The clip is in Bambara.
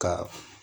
Ka